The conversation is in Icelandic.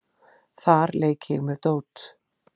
Þar leik ég með dót.